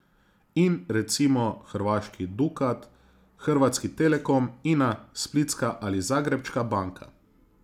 In, recimo, hrvaški Dukat, Hrvatski telekom, Ina, Splitska ali Zagrebačka banka.